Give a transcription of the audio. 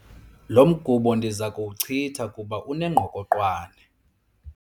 Lo mgubo ndiza kuwuchitha kuba unengqokoqwane.